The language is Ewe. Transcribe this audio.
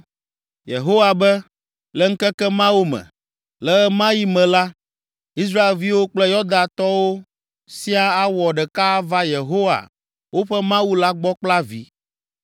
Yehowa be, “Le ŋkeke mawo me, le ɣe ma ɣi me la, Israelviwo kple Yudatɔwo siaa awɔ ɖeka ava Yehowa, woƒe Mawu la gbɔ kple avi.